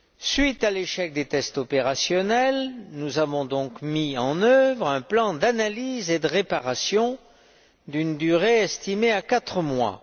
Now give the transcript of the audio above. Suite à l'échec des tests opérationnels, nous avons donc mis en œuvre un plan d'analyse et de réparation d'une durée estimée à quatre mois.